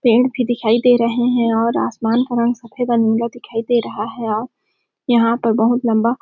पेड़ भी दिखाई दे रहे है और आसमान का रंग सफेद और नीला दिखाई रहा है और यहाँ बहुत लम्बा --